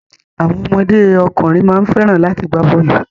Àwọn ọmọdé ọkùnrin má ń fẹ́ràn láti gbá bọ́ọ̀lù.